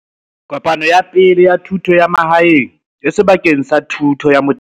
Kopano ya Pele ya Thuto ya Mahaeng sebakeng sa thuto ya motheo.